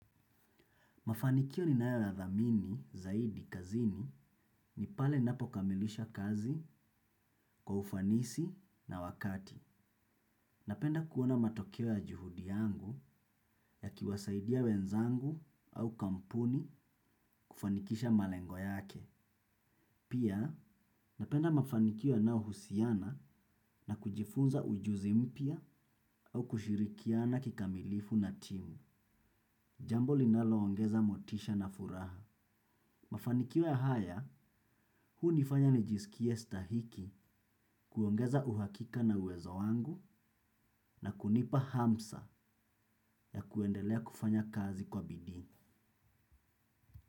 Mafanikio ninayo yadhamini zaidi kazini ni pale napo kamilisha kazi kwa ufanisi na wakati. Napenda kuona matokeo ya juhudi yangu ya kiwasaidia wenzangu au kampuni kufanikisha malengo yake. Pia napenda mafanikio yanayo husiana na kujifunza ujuzi mpya au kushirikiana kikamilifu na timu. Jambo linaloongeza motisha na furaha. Mafanikio haya, huu nifanya nijisikie stahiki kuongeza uhakika na uwezo wangu na kunipa hamsa ya kuendelea kufanya kazi kwa bidii.